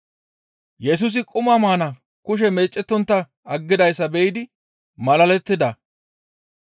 Yesusi quma maana kushe meecettontta aggidayssa be7idi malalettida.